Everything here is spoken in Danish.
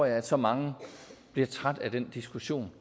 at så mange bliver trætte af den diskussion